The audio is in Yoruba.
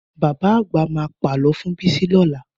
Bàbá àgbà ma pà lọ fún Bisi lọ́la